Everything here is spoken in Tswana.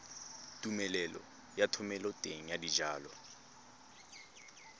tumelelo ya thomeloteng ya dijalo